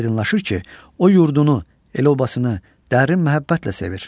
Aydınlaşır ki, o yurdunu, el-obasını dərin məhəbbətlə sevir.